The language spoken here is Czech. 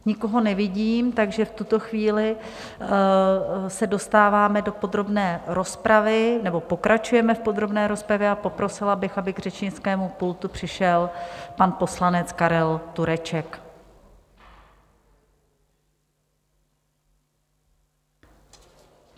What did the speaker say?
Nikoho nevidím, takže v tuto chvíli se dostáváme do podrobné rozpravy - nebo pokračujeme v podrobné rozpravě - a poprosila bych, aby k řečnickému pultu přišel pan poslanec Karel Tureček.